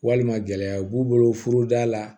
Walima gɛlɛyaw b'u bolo furuda la